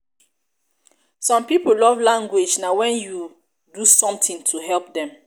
some pipo love language na wen you do something to help dem